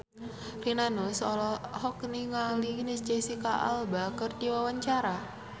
Rina Nose olohok ningali Jesicca Alba keur diwawancara